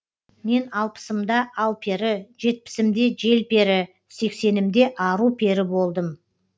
мен алпысымда алпері жетпісімде желпері сексенімде ару пері болдым